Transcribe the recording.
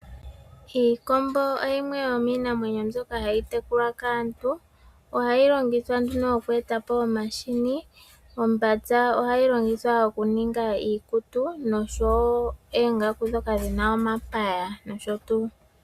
Iikombo yimwe yomiinamwenyo mbyoka hayi tekulwa kaantu, ohayi longithwa nduno oku eta po omahini, ombambya ohayi longithwa nduno okuninga iikutu nosho wo iikutu, noongaku ndhoka dhi na omapaya.